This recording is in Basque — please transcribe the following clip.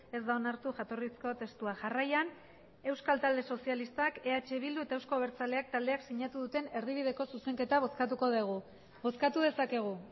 ez da onartu jatorrizko testua jarraian euskal talde sozialistak eh bildu eta euzko abertzaleak taldeak zinatu duten erdibideko zuzenketa bozkatuko degu bozkatu dezakegu